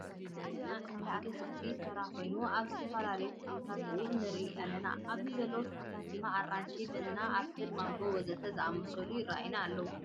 ኣብዝ ምስሊ ዝረአየና እንዳ ኣትክልቲ ተራ ኮይኑ ኣብዚ ዝተፈላለዩ ተክልታት እውን ንርኢ ኣለና። ኣብዚ ዘለዉ ተክልታት ድማ ኣራንሺ፣ በናና፣ ኣምፕል ማንጎ ወዘተ ዝኣምሰሉ ይረኣዩና ኣለዉ።